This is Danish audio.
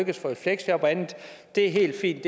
at få i fleksjob og andet det er helt fint